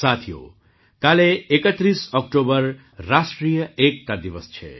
સાથીઓ કાલે ૩૧ ઑક્ટોબરે રાષ્ટ્રીય એકતા દિવસ છે